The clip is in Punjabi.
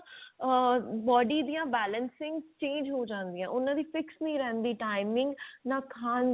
body ਦੀਆਂ balancing change ਹੋ ਜਾਂਦੀਆਂ ਉਹਨਾਂ ਦੀਆਂ fix ਨਹੀਂ ਰਿਹੰਦੀ timing ਨਾਂ ਖਾਨ ਦੀ